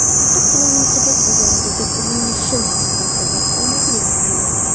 Faqatgina Yunusobod bozoridagi urinishim bu safar omadli yakunlandi.